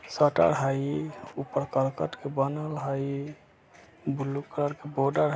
शटर हई ऊपर करकट के बनल हई ब्लू कलर के बॉर्डर |